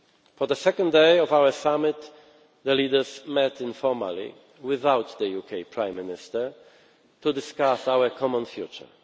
For the second day of our summit the leaders met informally without the UK Prime Minister to discuss our common future.